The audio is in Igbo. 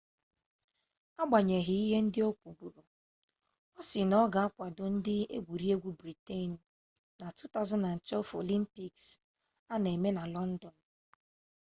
agbanyeghị ihe ndị o kwuburu ọ sị na ọ ga-akwado ndị egwuregwu briten na 2012 olimpiks a na-eme na lọndọn